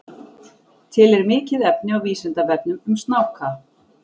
Til er mikið efni á Vísindavefnum um snáka.